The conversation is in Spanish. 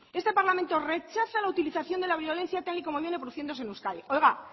este parlamento rechaza la utilización de la violencia tal y como viene produciéndose en euskadi oiga